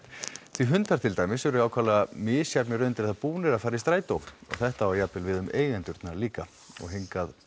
því hundar til dæmis eru ákaflega misjafnlega undir það búnir að fara í strætó og þetta á jafnvel við um eigendurna líka og hingað